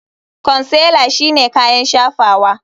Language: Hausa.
Consealer shine kayan shafawa.